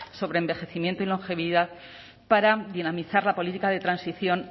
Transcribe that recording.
sobre envejecimiento y longevidad para dinamizar la política de transición